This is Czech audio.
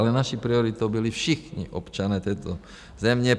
Ale naší prioritou byli všichni občané této země.